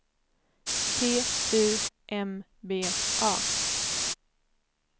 T U M B A